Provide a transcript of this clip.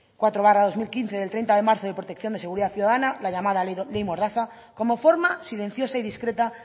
cuatro barra dos mil quince del treinta de marzo de protección y seguridad ciudadana la llamada ley mordaza como forma silenciosa y discreta